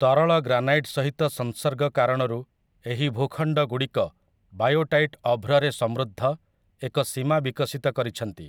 ତରଳ ଗ୍ରାନାଇଟ୍ ସହିତ ସଂସର୍ଗ କାରଣରୁ ଏହି ଭୂଖଣ୍ଡ ଗୁଡ଼ିକ ବାୟୋଟାଇଟ୍ ଅଭ୍ରରେ ସମୃଦ୍ଧ ଏକ ସୀମା ବିକଶିତ କରିଛନ୍ତି ।